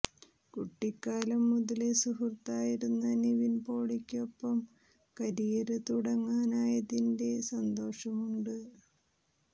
കുട്ടിക്കാലം മുതലേ സുഹൃത്തായിരുന്ന നിവിൻ പോളിക്കൊപ്പം കരിയര് തുടങ്ങാനായതിന്റെ സന്തോഷം ഉണ്ട്